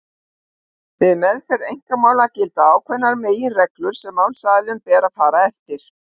Við meðferð einkamála gilda ákveðnar meginreglur sem málsaðilum ber að fara eftir.